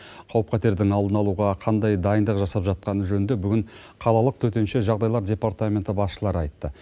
қауіп қатердің алдын алуға қандай дайындық жасап жатқаны жөнінде бүгін қалалық төтенше жағдайлар департаменті басшылары айтты